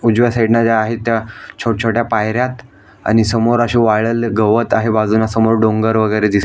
उजव्या साइडन आहे त्या छोट छोट्या पायऱ्यात आणि समोर असे वाळलेले गवत आहे बाजून समोर डोंगर वेगेरे दिस--